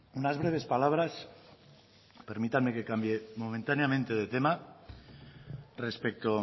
unas breves palabras permítanme que cambie momentáneamente de tema respecto